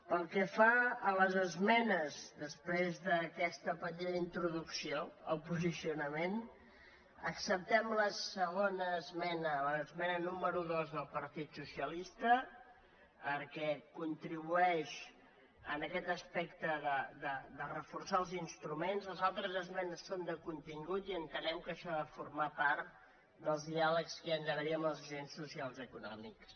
pel que fa a les esmenes després d’aquesta petita in·troducció al posicionament acceptem la segona es·mena l’esmena número dos del partit socialista perquè contribueix en aquest aspecte de reforçar els instru·ments les altres esmenes són de contingut i entenem que això ha de formar part dels diàlegs que hi ha d’ha·ver amb els agents socials i econòmics